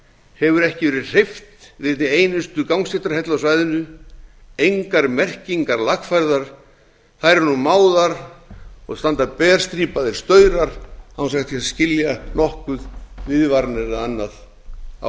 hefur ekki verið hreyft við einni einustu gangstéttarhellu á svæðinu engar merkingar lagfærðar þær eru nú máðar og standa berstrípaðir staurar án þess að hægt sé að skilja nokkuð viðvaranir eða annað á